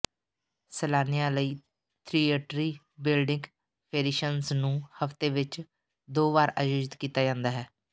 ਸੈਲਾਨੀਆਂ ਲਈ ਥੀਏਟਰ੍ਰੀ ਬਿਲਡਿੰਗ ਫੇਰੀਸ਼ਨਜ਼ ਨੂੰ ਹਫ਼ਤੇ ਵਿਚ ਦੋ ਵਾਰ ਆਯੋਜਿਤ ਕੀਤਾ ਜਾਂਦਾ ਹੈ